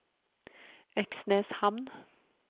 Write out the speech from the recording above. Øksneshamn